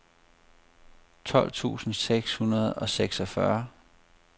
tolv tusind seks hundrede og seksogfyrre